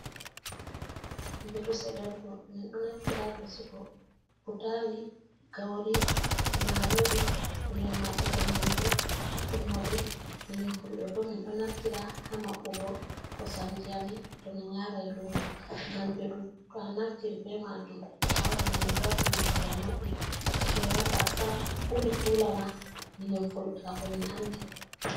Mbeɗu seɗerugo ,min ɗo naftira haa vesugo butaali ,gawri ,maroori. Min maɓɓugo nyamdu haa tummude. Minin Fulɓe bo ,min ɗo naftira haa maɓɓugo kosamji a min ,to min yaray luumo. Ngam mbeɗu ɗo to a naftiri be maajum a waɗi nyamdu haa tummude a maɓɓi fewata sam ,ɓuri kula ma minin Fulɓe kam ko min anndi.